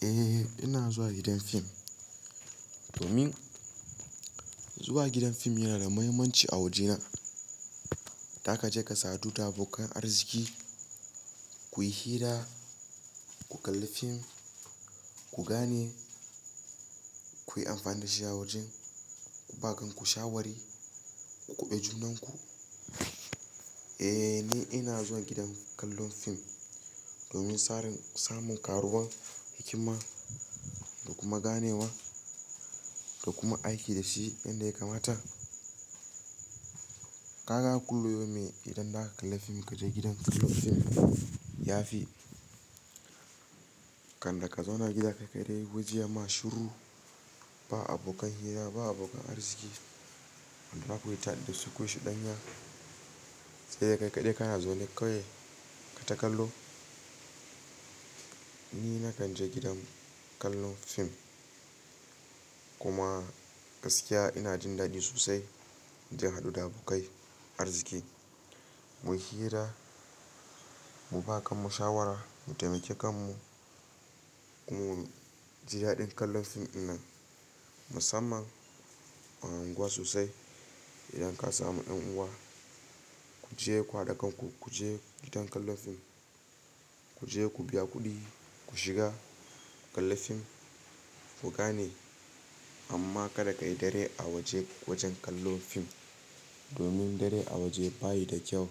Eh, ina zuwa gidan fim domin zuwa gidan fim yana da muhimmanci a wajena. Zaka je ka sadu da abokan arziki, kuyi hira, ku kalli fim, ku gane, kuyi amfani da shi a wajen, ku ba kanku shawari, ku kuɓe junanku. Eh, ni ina zuwa gidan kallon fim domin sarin, samun karuwan hikima da kuma ganewa da kuma aiki da shi inda ya kamata. Kaga a kullum yomin idan zaka kalli fim kaje gidan kallon fim. Yafi kanda ka zauna gida kai kaɗai waje ma shiru. Ba abokan hira ba abokan arziki. Wanda za kuyi ta da su, ku yi shuɗanya. Sai dai kai kaɗai kana zaune kawai kata kallo. Ni na kan je gidan kallon fim kuma gaskiya ina jin daɗi sosai, inje in hadu da abokai arziki. Mu hira, mu ba kanmu shawara, mu taimake kanmu, kuma mu ji daɗin kallon fim dinnan. Musamman a unguwa sosai. Idan ka samu yan uwa ku je ku hada kanku ku je gidan kallon fim. Ku je ku biya kuɗi, ku shiga kalli fim ku gane. Amma kada ka yi dare a waje wajen kallon fim domin dare a waje bayi da kyau,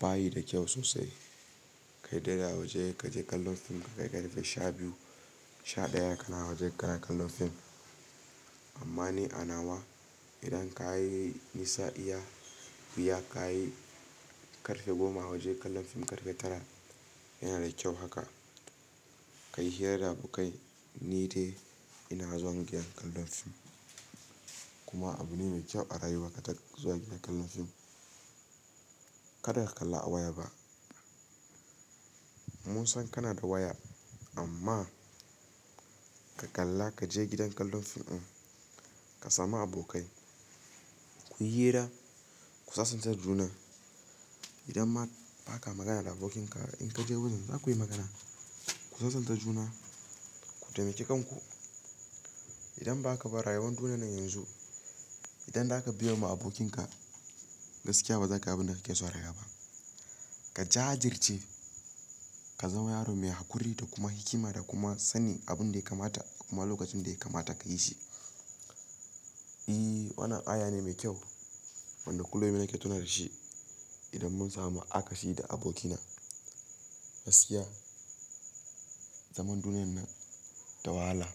bayi da kyau sosai. Ka yi dare a waje kaje kallon fim, ka kai ƙarfe shabiyu, sha ɗaya kana wajen kara kallon fim. Amma ni a nawa idan ka yi nisa iya biya ka yi ƙarfe goma a waje kallon fim ƙarfe tara yana da kyau haka. Ka yi hira da abokai. Ni dai ina zuwa gidan kallon fim kuma abu ne mai kyau a rayuwa ka zo gidan kallon fim. Kada ka kalla a waya ba. Mun san kana da waya amma ka kalla kaje gidan kallon fim in ka samu abokai kuyi hira ku sasanta juna. Idan ba ka magana da abokinka in ka je wajen za ku yi magana. Ku sasanta juna, ku taimake kanku. Idan ba ka ba rayuwar duniyar yanzu, idan zaka biya ma abokinka gaskiya ba za ka bi na da kai zuwa raga ba. Ka jajirce, ka zama yaro mai haƙuri da kuma hikima da kuma sani abun da ya kamata kuma lokacin da ya kamata ka yi shi. I, wannan aya ne mai kyau wanda kullum yana ki tuna da shi. Idan mun samu aka shi da abokina. Gaskiya zaman duniyar nan dawahala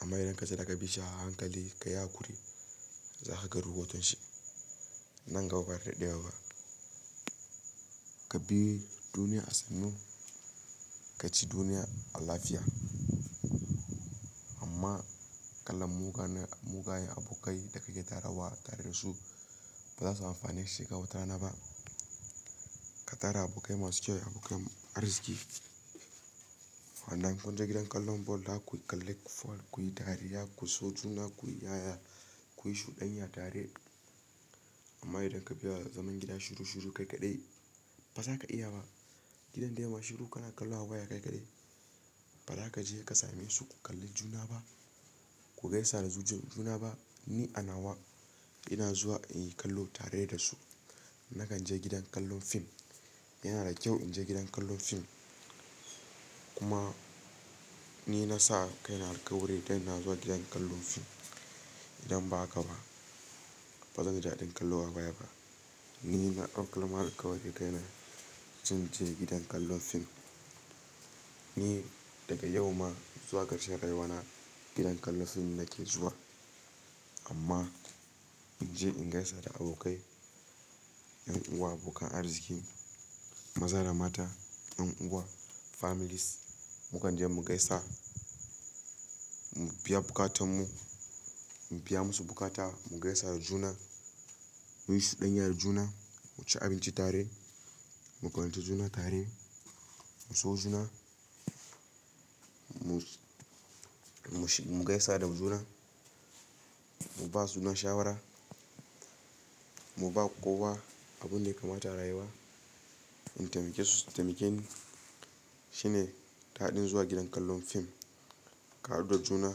amma idan ka ce za ka bi shi a hankali ka yi haƙuri za ka ga ruhotun shi. Nan gaba ba da dadewa ka bi duniya a sannu ka ci duniya a lafiya. Amma kallon mugaye abokai da ka ƙayatarawa tare da su ba za su amfanar shekaru tara ba. Ka tara abokai masu kyau abokai arziki. Wanda in kun je gidan kallon ball za zaku kalli ball, ku yi ɗariya, ku so juna, ku yi yaya, kuyi shuɗanya tare. Amma idan ka biya zaman gida shiru shiru kai kaɗai ba za ka iya ba. Gidan da yana shiru kana kallo a waya kai kaɗai. Ba za ka je ka same su ku kalli juna ba. Ku gaisa da zuciyar juna ba. Ni a nawa ina zuwa in yi kallo tare da su. Na kan je gidan kallon fim. Yana da kyau in je gidan kallon fim kuma ni na sa kai na alƙawari da ina zuwa gidan kallon fim. Idan ba haka ba bazan ji daɗin kallo a waya ba. Ni na ɗaukar alƙawari da kai na zan je gidan kallon fim. Ni daga yau ma zuwa ƙarshen rayuwana gidan kallon fim nake zuwa amma in je in gaisa da abokai, ƴan uwa, abokan arziki, maza da mata, yan uwa families mu kan je mu gaisa mu biya buƙatan mu. Mu biya musu buƙata mu gaisa da juna, mu yi chuɗanya juna, mu ci abinci tare, mu ƙaunace juna tare, mu so juna, mu gaisa da juna, mu ba juna shawara, mu ba kowa abun da ya kamata a rayuwa in taimake su. Taimaken shine taɗin zuwa gidan kallon fim, ƙa hadu da juna.